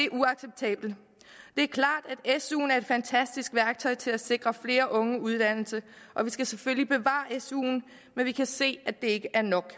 er klart at suen er et fantastisk værktøj til at sikre flere unge uddannelse og vi skal selvfølgelig bevare suen men vi kan se at det ikke er nok